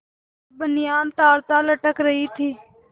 साफ बनियान तारतार लटक रही थी